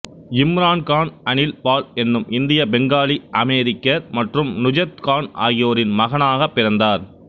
இம்ரான் கான் அனில் பால் என்னும் இந்திய பெங்காலி அமெரிக்கர் மற்றும் நுஜத் கான் ஆகியோரின் மகனாகப் பிறந்தார்